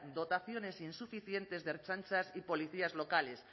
dotaciones insuficientes de ertzaintza y policías locales